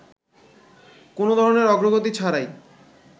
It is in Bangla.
কোন ধরনের অগ্রগতি ছাড়াই